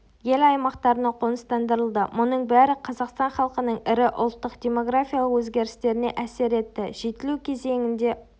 ел аймақтарына қоныстандырылды мұның бәрі қазақстан халқының ірі ұлттық демографиялық өзгерістеріне әсер етті жетілу кезеңінде